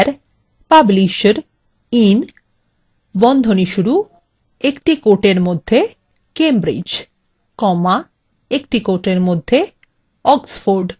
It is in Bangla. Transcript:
where publisher in cambridge oxford